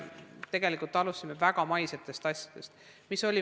Tegelikult alustasime väga maistest asjadest.